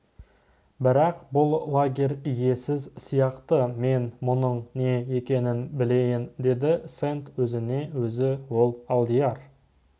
бірақ бұл лагерь иесіз сияқты мен мұның не екенін білейін деді сэнд өзіне өзі ол алдияр